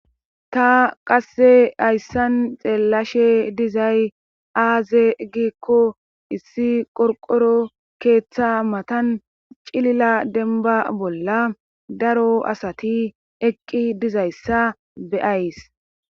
ta qasse hayssan xeellashe dizay aaze gikko issi qorqoro keeththa matan cilila denba bolla daro asati eqqi dizayssa be'ays